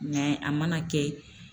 a mana kɛ